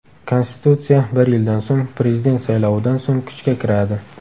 Konstitutsiya bir yildan so‘ng, prezident saylovidan so‘ng kuchga kiradi.